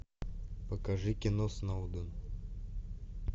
покажи кино сноуден